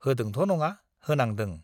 होदोंथ' नङा होनांदों।